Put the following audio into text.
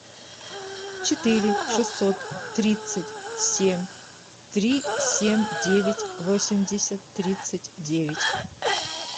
четыре шестьсот тридцать семь три семь девять восемьдесят тридцать девять